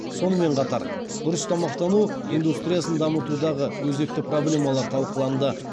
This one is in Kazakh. сонымен қатар дұрыс тамақтану индустриясын дамытудағы өзекті проблемалар талқыланды